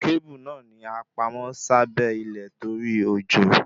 Kábù náà ni a pamọ́ sábẹ́ ilé torí òjò